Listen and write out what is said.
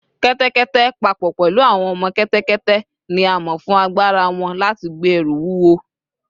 Kẹ́tẹ́kẹ́tẹ́, pa pọ̀ pẹ̀lú àwọn ọmọ kẹ́tẹ́kẹ́tẹ́, ni a mọ̀ fún agbára wọn láti gbé ẹrù wúwo